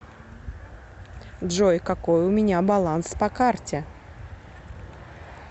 джой какой у меня баланс по карте